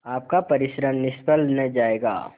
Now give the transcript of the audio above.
आपका परिश्रम निष्फल न जायगा